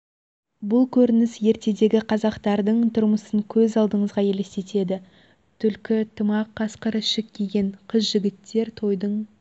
бұл көрініс ертедегі қазақтардың тұрмысын көз алдыңызға елестетеді түлкі тымақ қасқыр ішік киген қыз-жігіттер тойдың